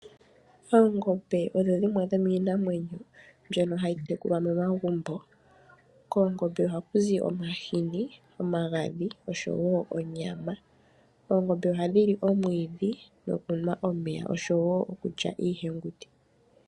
Oongombe odho dhimwe dhomiinamwenyo mbyono hayi tekulwa momagumbo, koongombe ohakuzi omahini, omagandhi noshowo onyama. Oongombe ohandhi li omwiidhi, nokunwa omeya noshowo iikulya iihenguti.